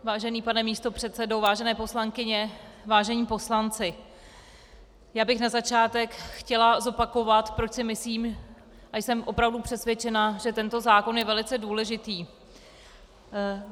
Vážený pane místopředsedo, vážené poslankyně, vážení poslanci, já bych na začátek chtěla zopakovat, proč si myslím a jsem opravdu přesvědčena, že tento zákon je velice důležitý.